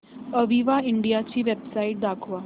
Aviva India ची website दाखवा